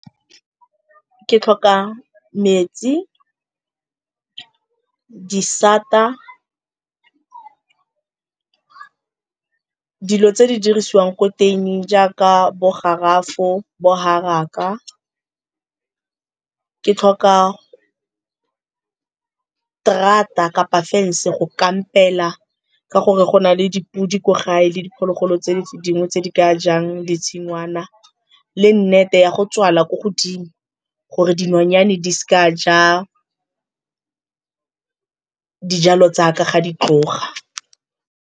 Ke tlhoka metsi, disata, dilo tse di dirisiwang ko tuining jaaka bo garafo, bo haraka. Ke tlhoka terata kapa fence-e go kampela ka gore go na le dipudi kwa gae le diphologolo tse dingwe tse di ka jang ditshingwana le nete ya go tswala ko godimo gore dinonyane di seka dia ja dijalo tsaka ga di tloga.